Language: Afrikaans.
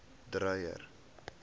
dreyer